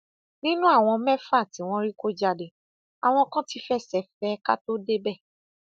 nínú àwọn mẹfà tí wọn rí kọ jáde àwọn kan tí fẹsẹ fẹ ẹ ká tóó débẹ